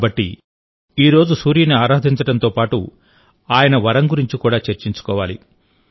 కాబట్టి ఈరోజు సూర్యుని ఆరాధించడంతో పాటు ఆయన వరం గురించి కూడా చర్చించుకోవాలి